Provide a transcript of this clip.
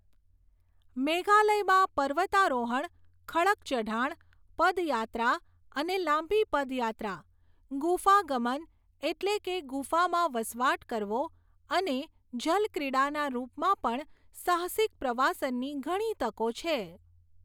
મેઘાલયમાં પર્વતારોહણ, ખડક ચઢાણ, પદયાત્રા અને લાંબી પદયાત્રા, ગુફાગમન, એટલે કે ગુફામાં વસવાટ કરવો, અને જલક્રીડાના રૂપમાં પણ સાહસિક પ્રવાસનની ઘણી તકો છે.